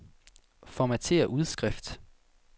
Formatér udskrift.